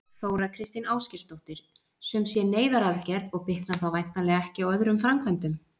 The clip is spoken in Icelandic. Þóra Kristín Ásgeirsdóttir: Sum sé neyðaraðgerð og bitnar þá væntanlega ekki á öðrum framkvæmdum?